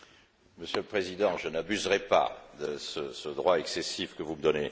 Monsieur le Président, je n'abuserai pas de ce droit excessif que vous me donnez.